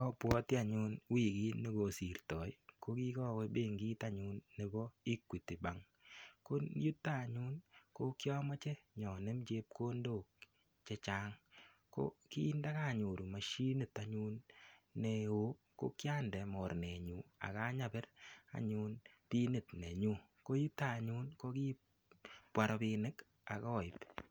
Abwoti anyun wigit negosirtoi ko kikawe benkit anyun nebo Equity Bank. Ko yuto anyun ko kiamoche inyonem chepkondok che chang ko kindakanyoru mashinit anyun neo ko kiande mornenyu ak anyapir anyun pinit nenyu. Ko yuto anyun ko kibwa rapinik ak aip